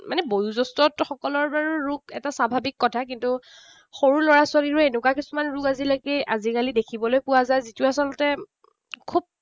মানে বয়োজ্যেষ্ঠসকলৰ বাৰু ৰোগ এটা স্বাভাৱিক কথা। কিন্তু সৰু লৰা ছোৱালীৰো এনেকুৱা কিছুমান ৰোগ আজিলৈকে আজিকালি দেখিবলৈ পোৱা যায়, যিটো আচলতে খুব